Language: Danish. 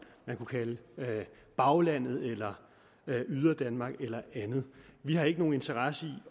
man kunne kalde baglandet yderdanmark eller andet vi har ikke nogen interesse